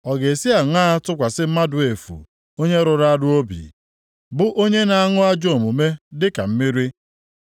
ọ ga-esi aṅaa tụkwasị mmadụ efu onye rụrụ arụ obi, bụ onye na-aṅụ ajọ omume dịka mmiri.